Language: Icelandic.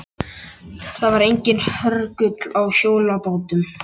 Það var enginn hörgull á hjólabátum.